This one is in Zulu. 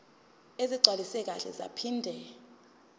ezigcwaliswe kahle zaphinde